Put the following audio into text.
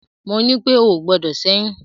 Mo ní pé o ò gbọdọ̀ ṣẹ́yún!